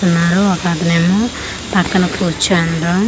ఉన్నారు ఒకతనేమో పక్కన కుర్చుండ్రు .]